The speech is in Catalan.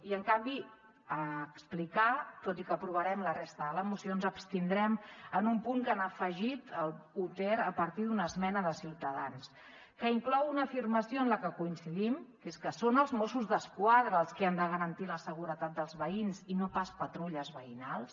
i en canvi explicar tot i que aprovarem la resta de la moció ens abstindrem en un punt que han afegit l’un ter a partir d’una esmena de ciutadans que inclou una afirmació en la que coincidim que és que són els mossos d’esquadra els qui han de garantir la seguretat dels veïns i no pas patrulles veïnals